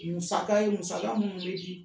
Musaka in, musaka minnu bɛ di